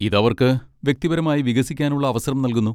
ഇത് അവർക്ക് വ്യക്തിപരമായി വികസിക്കാനുള്ള അവസരം നൽകുന്നു.